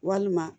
Walima